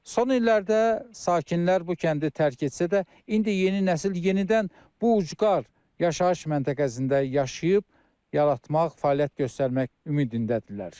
Son illərdə sakinlər bu kəndi tərk etsə də, indi yeni nəsil yenidən bu ucqar yaşayış məntəqəsində yaşayıb, yaratmaq, fəaliyyət göstərmək ümidindədirlər.